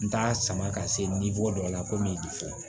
N t'a sama ka se dɔ la ko mi fɔ